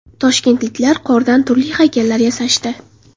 Toshkentliklar qordan turli haykallar yasashdi.